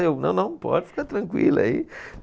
Eu não, não, pode ficar tranquila aí.